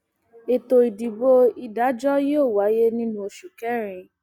ètò ìdìbò ìdájọ yóò wáyé nínú oṣù kẹrin